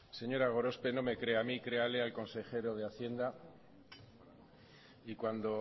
señora gorospe no me crea a mí créale al consejero de hacienda y cuando